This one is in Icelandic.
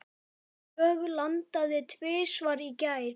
Dögg landaði tvisvar í gær.